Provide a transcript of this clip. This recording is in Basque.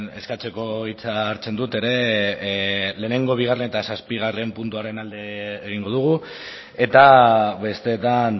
eskatzeko hitza hartzen dute ere lehenengo bigarren eta zazpigarren puntuaren alde egingo dugu eta besteetan